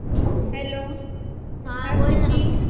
hello, hi Siddhi